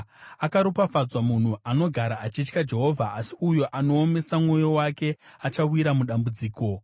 Akaropafadzwa munhu anogara achitya Jehovha, asi uyo anoomesa mwoyo wake achawira mudambudziko.